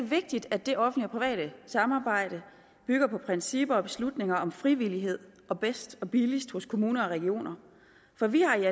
vigtigt at det offentlige og private samarbejde bygger på principper og beslutninger om frivillighed og bedst og billigst hos kommuner og regioner for vi har